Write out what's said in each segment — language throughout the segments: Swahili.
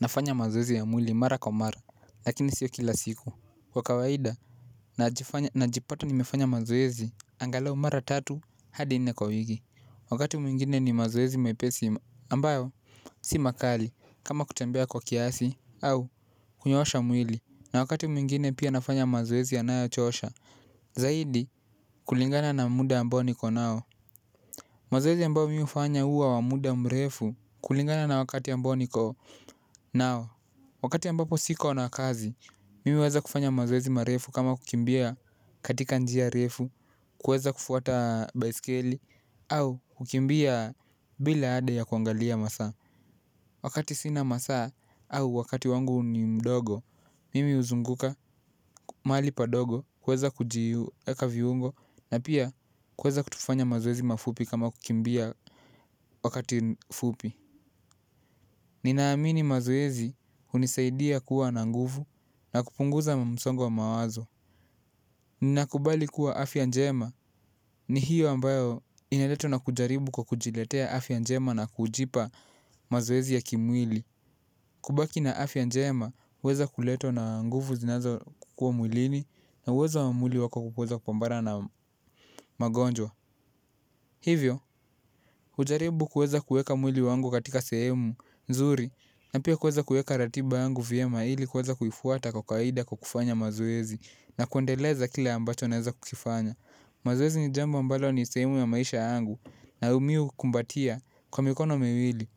Nafanya mazoezi ya mwili mara kwa mara lakini sio kila siku kwa kawaida najifanya najipata nimefanya mazoezi angalau mara tatu hadi nne kwa wiki wakati mwingine ni mazoezi mepesi ambayo si makali kama kutembea kwa kiasi au kunyoosha mwili na wakati mwingine pia nafanya mazoezi yanayo chosha zaidi kulingana na muda ambao nikonao mazoezi ambayo mi hufanya huwa wa muda mrefu kulingana na wakati ambao niko nao. Wakati ambapo siko na kazi, mimi huweza kufanya mazoezi marefu kama kukimbia katika njia refu, kuweza kufuata baisikeli, au kukimbia bila adi ya kuangalia masaa. Wakati sina masaa, au wakati wangu ni mdogo, mimi huzunguka mahali padogo, kuweza kujieka viungo, na pia kuweza kufanya mazoezi mafupi kama kukimbia wakati fupi. Ninaamini mazoezi hunisaidia kuwa na nguvu na kupunguza msongo wa mawazo. Ninakubali kuwa afya njema ni hiyo ambayo ineletwa na kujaribu kwa kujiletea afya njema na kujipa mazoezi ya kimwili kubaki na afya njema huweza kuletwa na nguvu zinazokuwa mwilini na uwezo wa mwili wako kuweza kupambana na magonjwa. Hivyo, hujaribu kuweza kueka mwili wangu katika sehemu, nzuri, na pia kuweza kuweka ratiba yangu vyema ili kuweza kuifuata kwa kawaida kwa kufanya mazoezi na kuendeleza kile ambacho naeza kukifanya. Mazoezi ni jambo ambalo ni sehemu ya maisha yangu na umiu hukumbatia kwa mikono miwili.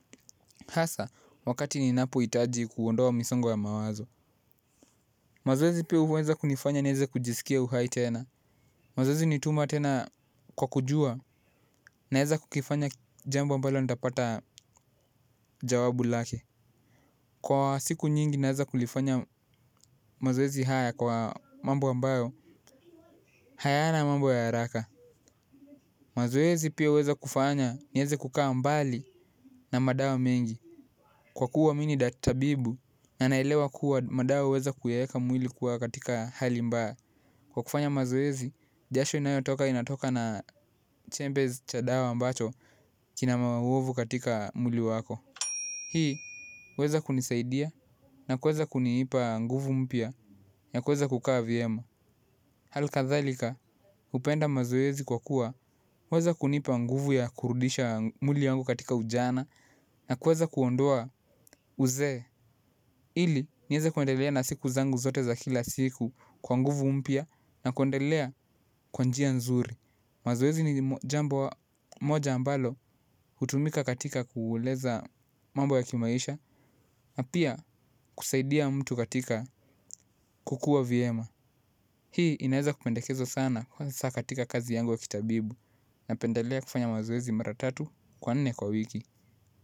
Hasa, wakati ninapohtaji kuondoa misongo ya mawazo. Mazoezi pia huweza kunifanya nieze kujisikia uhai tena. Mazoezi ni tuma tena kwa kujua naeza kukifanya jambo ambalo nitapata jawabu lake. Kwa siku nyingi naeza kulifanya mazoezi haya kwa mambu ambayo hayana mambo ya haraka. Mazoezi pia huweza kufanya niweze kukaa mbali na madawa mengi. Kwa kuwa mi ni dak tabibu na naelewa kuwa madawa huweza kuyaeka mwili kuwa katika hali mbaya. Kwa kufanya mazoezi, jasho inayotoka inatoka na Chambers cha dawa ambacho kina maovu katika mwili wako. Hii, huweza kunisaidia na kuweza kunipa nguvu mpia ya kuweza kukaa vyema hali kathalika, hupenda mazoezi kwa kuwa, huweza kuniipa nguvu ya kurudisha mwili yangu katika ujana na kuweza kuondoa uzee, ili niweze kuendelea na siku zangu zote za kila siku kwa nguvu mpya na kuendelea kwa njia nzuri. Mazoezi ni jambo moja ambalo hutumika katika kueleza mambo ya kimaisha na pia kusaidia mtu katika kukuwa vyema. Hii inaeza kupendekezwa sana kwa saa katika kazi yangu wa kitabibu. Napendelea kufanya mazoezi mara tatu kwa nne kwa wiki.